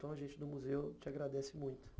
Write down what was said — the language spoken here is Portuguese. Então, a gente do museu te agradece muito.